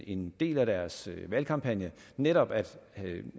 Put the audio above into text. en del af deres valgkampagne netop at